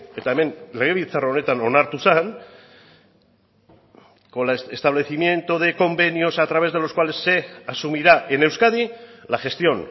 eta hemen legebiltzar honetan onartu zen con la establecimiento de convenios a través de los cuales se asumirá en euskadi la gestión